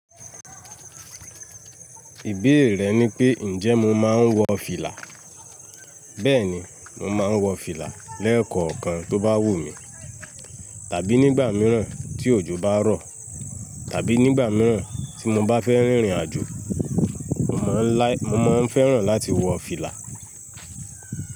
Ìbéèrè rẹ ni pé, ǹjẹ́ mo máa ń wọ fìlà? Bẹ́ẹ̀ni, mo máa ń wọ fìlà lẹ́ẹ̀kọ̀ọ̀kan tó bá wù mí, tàbí nígbà mìíràn tí òjò bá rọ̀, tàbí nígbà mìíràn tí mo bá fẹ́ rìnrìn àjò, mo máa ń fẹ́ràn láti wọ fìlà.